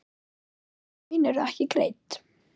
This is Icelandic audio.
Laun eru ekki greidd.